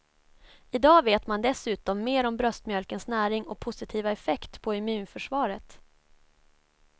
I dag vet man dessutom mer om bröstmjölkens näring och positiva effekt på immunförsvaret.